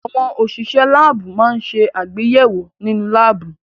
Àwọn òṣìṣẹ́ láábù máa ń ṣe àgbéyẹ̀wò nínú láábù.